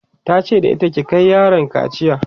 tace da ita "ki Kai yaron kaciya!'